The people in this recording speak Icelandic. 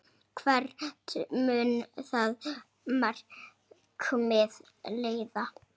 Hvert mun það markmið leiða?